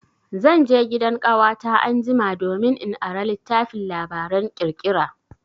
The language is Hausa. Zan je gidan ƙawata anjima domin in ara littafin labaran ƙirƙira.